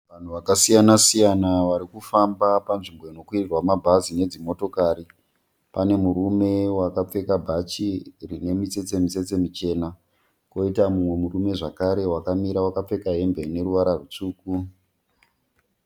Vanhu vakasiyana siyana vari kufamba panzvimbo inokwirirwa mabus nedzimotokari. Pane murume wakapfeka bhachi rine mitsetse mitsetse michena koita mumwe murume zvakare wakamira wakapfeka hembe ine ruvara rutsvuku.